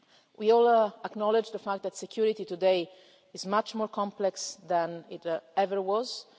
We all acknowledge the fact that security today is much more complex than it ever